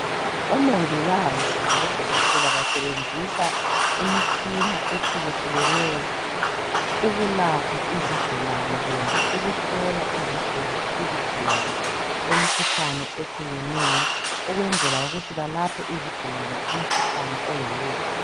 Omongikazi labodokotela basebenzisa imitshina ehlukehlukeneyo ukulapha izigulane kumbe ukuhlola izigulane imkhuhlane ehlukeneyo. Ukwenzela ukuthi balaphe izigulane umkhuhlane oyiwo.